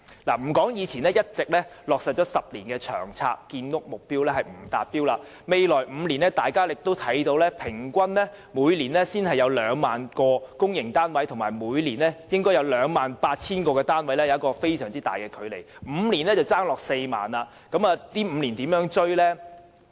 莫說已落實10年的《長遠房屋策略》所訂的建屋目標仍未達到，甚至在未來5年平均每年只提供 20,000 個公屋單位，這與每年須提供 28,000 個公營單位仍有很大的距離，即是說5年便欠 40,000 個單位。